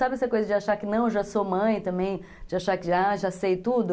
Sabe essa coisa de achar que não, já sou mãe também, de achar que já, já sei tudo?